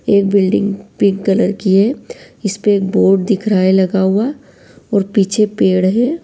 एक building pink colour की है इसपे बोर्ड दिख रहा है लगा हुआ और पीछे पेड़ हैं।